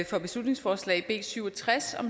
for beslutningsforslag b syv og tres